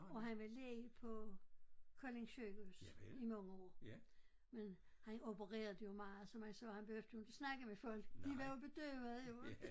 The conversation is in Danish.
Og han var læge på Kolding Sygehus i mange år men han opererede jo meget så meget så han behøvede jo inte snakke med folk de var jo bedøvede